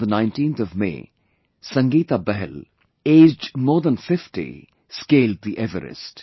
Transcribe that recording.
On the 19th of May, Sangeeta Bahal, aged more than 50, scaled the Everest